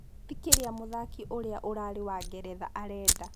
Tikĩria mũthaki ũrĩa ũrarĩ wa Ngeretha arenda.